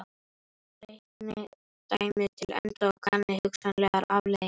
Reiknið dæmið til enda og kannið hugsanlegar afleiðingar.